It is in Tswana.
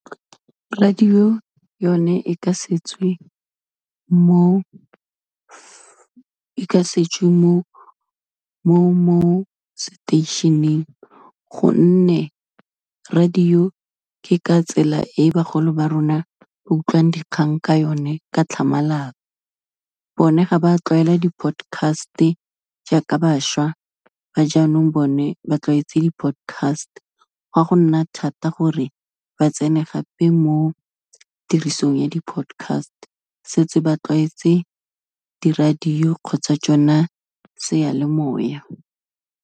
Radio yone, e ka setswe mo seteisheneng, gonne radio ke ka tsela e bagolo ba rona ba utlwang dikgang ka yone ka tlhamalalo, bone ga ba tlwaela di-podcast-e jaaka bašwa ba jaanong bone ba tlwaetse di-podcast, gwa gonna thata gore ba tsene gape mo tirisong ya di-podcast, setse ba tlwaetse di-radio kgotsa tsona, seyalemoya.